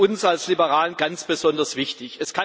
Das ist uns als Liberalen ganz besonders wichtig.